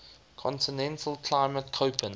continental climate koppen